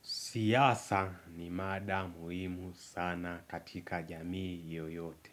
Siasa ni mada muhimu sana katika jamii yoyote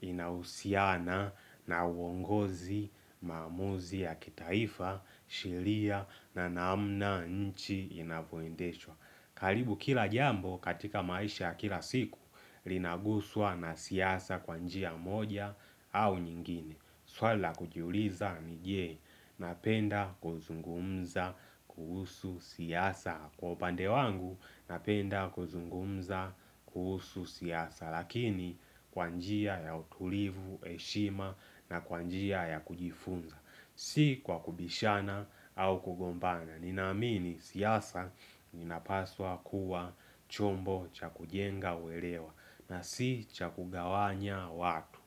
inahusiana na uongozi maamuzi ya kitaifa sheria na namna nchi inavyoendeshwa. Karibu kila jambo katika maisha ya kila siku linaguswa na siasa kwa njia moja au nyingine swali la kujiuliza ni je, napenda kuzungumza kuhusu siasa. Kwa upande wangu napenda kuzungumza kuhusu siasa lakini kwa njia ya utulivu heshima na kwa njia ya kujifunza si kwa kubishana au kugombana ninaamini siasa ninapaswa kuwa chombo cha kujenga uelewa na si cha kugawanya watu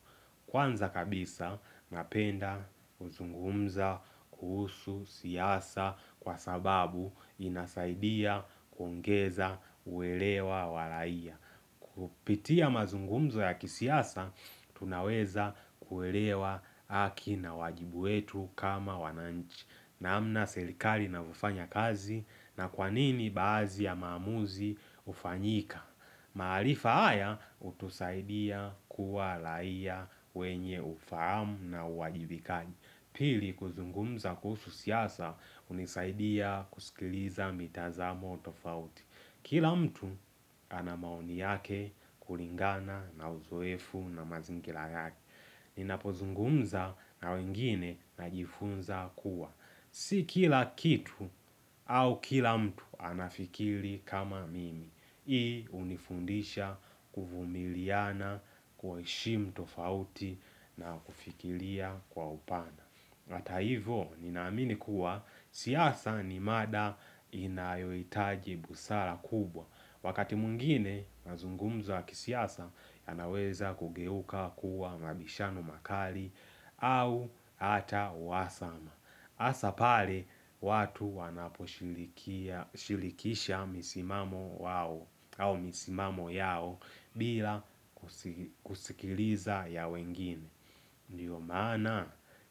Kwanza kabisa napenda kuzungumza kuhusu siasa kwa sababu inasaidia kuongeza uelewa wa raia. Kupitia mazungumzo ya kisiasa tunaweza kuelewa haki na wajibu wetu kama wananchi namna serikali inavyofanya kazi na kwa nini baadhi ya maamuzi hufanyika maarifa haya hutusaidia kuwa raia wenye ufahamu na uwajibikaji Pili kuzungumza kuhusu siasa hunisaidia kusikiliza mitazamo tofauti. Kila mtu ana maoni yake kulingana na uzoefu na mazingira yake Ninapozungumza na wengine najifunza kuwa Si kila kitu au kila mtu anafikiri kama mimi Hii hunifundisha kuvumiliana kuheshimu tofauti na kufikiria kwa upana hata hivyo ninaamini kuwa siasa ni mada inayohitaji busara kubwa wakati mwingine mazungumzo wa kisiasa yanaweza kugeuka kuwa mabishano makali au hata uhasama hasa pale watu wanaposhilikisha misimamo yao bila kusikiliza ya wengine Ndio maana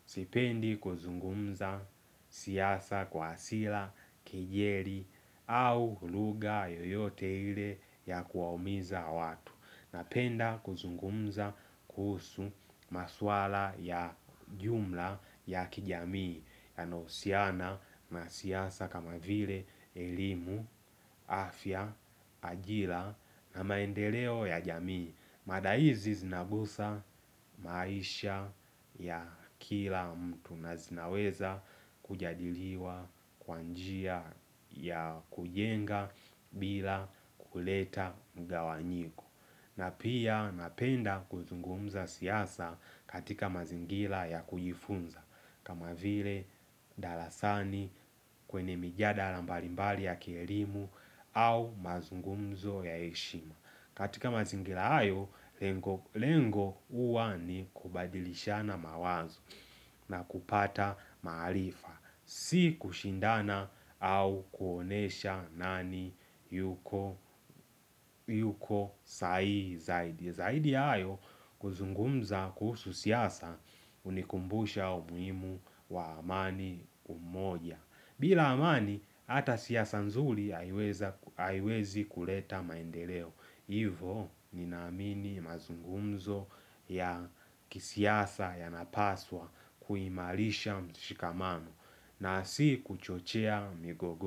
sipendi kuzungumza siasa kwa hasira kejeli au lugha yoyote ile ya kuwaumiza watu. Napenda kuzungumza kuhusu maswala ya jumla ya kijamii yanayohusiana na siasa kama vile elimu afya ajira na maendeleo ya jamii mada hizi zinagusa maisha ya kila mtu na zinaweza kujadiliwa kwa njia ya kujenga bila kuleta mgawanyiko na pia napenda kuzungumza siasa katika mazingira ya kujifunza kama vile darasani kwenye mijadala mbalimbali ya kielimu au mazungumzo ya heshima katika mazingira hayo lengo lengo huwa ni kubadilishana mawazo na kupata maarifa si kushindana au kuonyesha nani yuko sahihi zaidi zaidi ya hayo kuzungumza kuhusu siasa hunikumbusha umuhimu wa amani umoja bila amani hata siasa nzuri haiwezi kuleta maendeleo hivo ninaamini mazungumzo ya kisiasa yanapaswa kuimarisha mshikamano na si kuchochea migogoro.